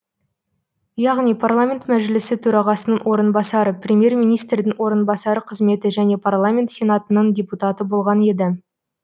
яғни парламент мәжілісі төрағасының орынбасары премьер министрдің орынбасары қызметі және парламент сенатының депутаты болған еді